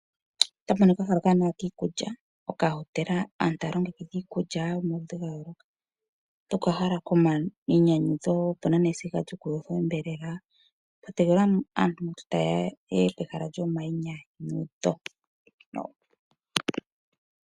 Okahala okawanawa kiikulya, okahotela. Aantu taya longekidha iikulya yomaludhi ga yooloka. Okahala komayinyanyudho, opu na nesiga lyokuyothela onyama. Pwa tegelelwa aantu ngiika taye ya ye ye pehala lyomayinyanyudho.